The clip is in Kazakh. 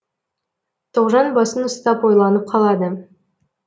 тоғжан басын ұстап ойланып қалады